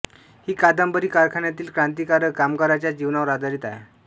ही कादंबरी कारखान्यातील क्रांतिकारक कामगारांच्या जीवनावर आधारित आहे